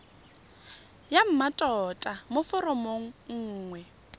ya mmatota mo foromong nngwe